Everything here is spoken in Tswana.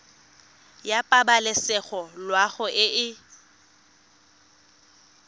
ya pabalesego loago e e